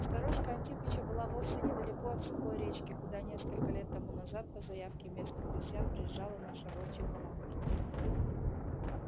сторожка антипыча была вовсе недалеко от сухой речки куда несколько лет тому назад по заявке местных крестьян приезжала наша волчья команда